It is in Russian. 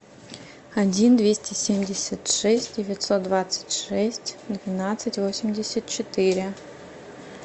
один двести семьдесят шесть девятьсот двадцать шесть двенадцать восемьдесят четыре